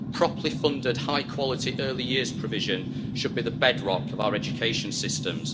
Properly funded high quality early years provision should be the bedrock of our education systems.